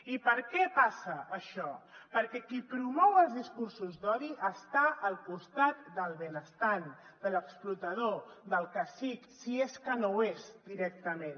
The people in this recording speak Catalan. i per què passa això perquè qui promou els discursos d’odi està al costat del benestant de l’explotador del cacic si és que no ho és directament